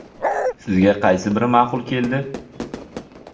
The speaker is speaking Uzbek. Sizga qaysi biri ma’qul keldi?